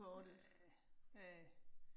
Ja. Ja